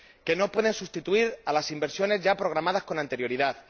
Que no pueden sustituir a las inversiones ya programadas con anterioridad.